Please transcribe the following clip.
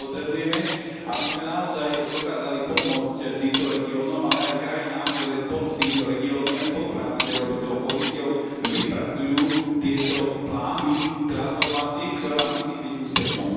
Potrebujeme, aby sme naozaj dokázali pomôcť týmto regiónom, ale aj krajinám, ktoré spolu s týmito regiónmi a v spolupráci s Európskou komisiou vypracujú tieto plány transformácie, ktorá musí byť úspešnou.